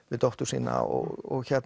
við dóttur sína og